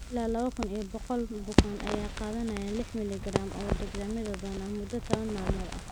Ilaa laba kuun iyo boqool bukaan ayaa qaadanaya lix milli Garaam oo dexamethasone ah muddo tobaan maalmood ah.